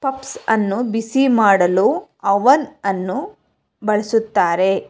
Puffs ಅನ್ನು ಬಿಸಿ ಮಾಡಲು ಅವನ್ ಅನ್ನು ಬಳಸುತ್ತಾರೆ.